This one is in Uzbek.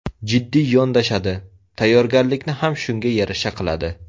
Jiddiy yondashadi, tayyorgarlikni ham shunga yarasha qiladi.